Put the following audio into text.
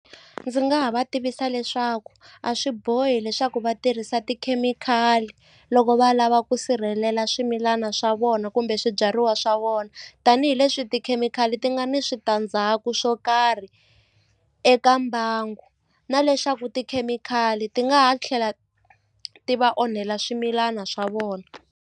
Ndzi nga ha va tivisa leswaku a swi bohi leswaku va tirhisa tikhemikhali loko va lava ku sirhelela swimilana swa vona kumbe swibyariwa swa vona tanihileswi tikhemikhali ti nga ni switandzhaku swo karhi eka mbangu na leswaku tikhemikhali ti nga ha tlhela ti va onhela swimilana swa vona.